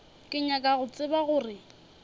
ke nyaka go tseba gore